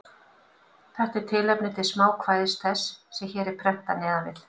Þetta er tilefni til smákvæðis þess, sem hér er prentað neðan við.